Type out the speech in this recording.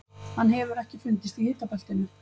Hann hefur ekki fundist í hitabeltinu.